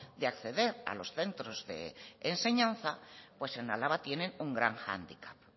de acceder a los centros de enseñanza pues en álava tiene un gran hándicap